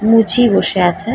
মুচি বসে আছে ।